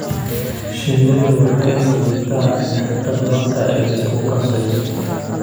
Shinnidu waxay sidataa nectar marka ay isku qasayso.